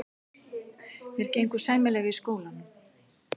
Mér gengur sæmilega í skólanum.